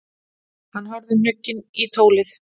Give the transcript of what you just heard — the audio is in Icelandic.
Hann horfði hnugginn í tólið.